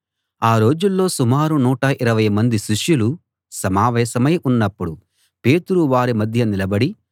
ఆ రోజుల్లో సుమారు నూట ఇరవై మంది శిష్యులు సమావేశమై ఉన్నపుడు పేతురు వారి మధ్య నిలబడి